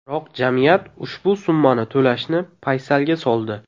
Biroq jamiyat ushbu summani to‘lashni paysalga soldi.